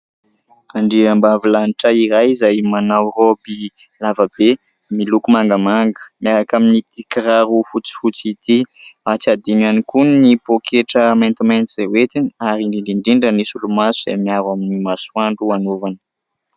Andriambavilanitra iray izay manao roby lavabe, miloko mangamanga miaraka amin'ity kiraro fotsifotsy ity, tsy adino ihany koa ny poketra maintimainty izay ho entiny ary indrindra indrindra ny solomaso izay miaro amin'ny masoandro anaovany.